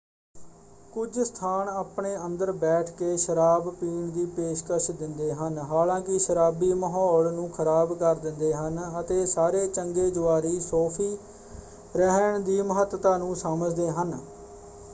ਕੁਝ ਸਥਾਨ ਆਪਣੇ ਅੰਦਰ ਬੈਠ ਕੇ ਸ਼ਰਾਬ ਪੀਣ ਦੀ ਪੇਸ਼ਕਸ਼ ਦਿੰਦੇ ਹਨ। ਹਾਲਾਂਕਿ ਸ਼ਰਾਬੀ ਮਹੌਲ ਨੂੰ ਖਰਾਬ ਕਰ ਦਿੰਦੇ ਹਨ ਅਤੇ ਸਾਰੇ ਚੰਗੇ ਜੁਆਰੀ ਸੌਫੀ ਰਹਿਣ ਦੀ ਮਹੱਤਤਾ ਨੂੰ ਸਮਝਦੇ ਹਨ।